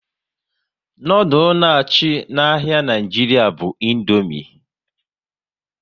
Noodules na achị n'ahia Nigeria bu Indomie